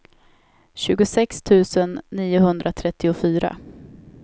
tjugosex tusen niohundratrettiofyra